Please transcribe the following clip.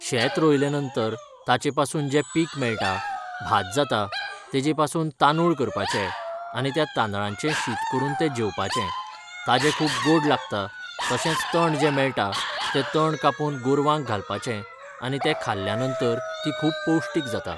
शेत रोयलें नंतर ताचे पासून जे पीक मेळटा भात जाता तेजे पासून तांदूळ करपाचे आनी त्या तांदळांचे शीत करून तें जेवपाचे ताजे खूब गोड लागता तशेंच तण जे मेळटा तें तण कापून गोरवांक घालपाचें आनी तें खाल्ल्या नंतर ती खूब पौश्टीक जाता